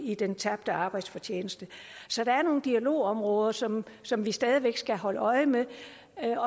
i den tabte arbejdsfortjeneste så der er nogle dialogområder som som vi stadig væk skal holde øje med